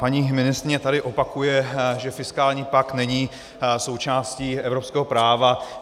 Paní ministryně tady opakuje, že fiskální pakt není součástí evropského práva.